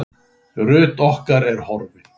Ruth okkar er horfin.